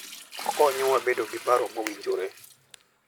Okonyowa bedo gi paro mowinjore.